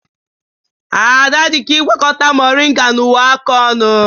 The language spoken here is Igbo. Ada dị ka ịgwakọta moringa na uwe aka ọnụ